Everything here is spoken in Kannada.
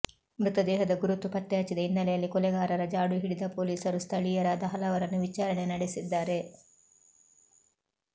ಮೃತದೇಹದ ಗುರುತು ಪತ್ತೆಹಚ್ಚಿದ ಹಿನ್ನೆಲೆಯಲ್ಲಿ ಕೊಲೆಗಾರರ ಜಾಡು ಹಿಡಿದ ಪೊಲೀಸರು ಸ್ಥಳೀಯರಾದ ಹಲವರನ್ನು ವಿಚಾರಣೆ ನಡೆಸಿದ್ದಾರೆ